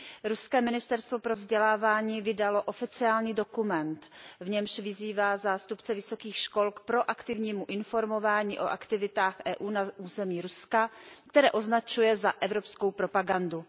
Ruské ministerstvo pro vzdělávání vydalo oficiální dokument, v němž vyzývá zástupce vysokých škol k proaktivnímu informování o aktivitách Evropské unie na území Ruska, které označuje za evropskou propagandu.